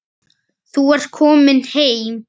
Þú ert komin heim.